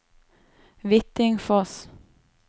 Hvittingfoss